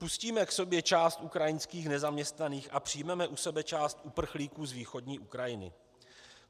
Pustíme k sobě část ukrajinských nezaměstnaných a přijmeme u sebe část uprchlíků z východní Ukrajiny?